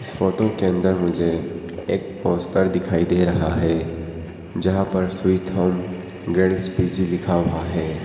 Photo के अंदर मुझे एक पोस्टर दिखाई दे रहा है जहां पर स्वीट होम गर्ल्स पी_जी लिखा हुआ है।